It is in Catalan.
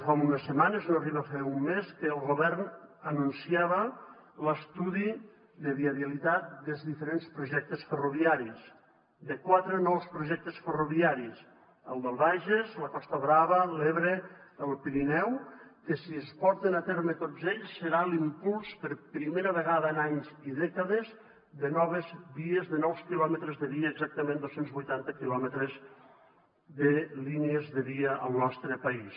fa unes setmanes no arriba a fer un mes que el govern anunciava l’estudi de viabilitat dels diferents projectes ferroviaris de quatre nous projectes ferroviaris el del bages la costa brava l’ebre el pirineu que si es porten a terme tots ells serà l’impuls per primera vegada en anys i dècades de noves vies de nous quilòmetres de via exactament dos cents i vuitanta quilòmetres de línies de via al nostre país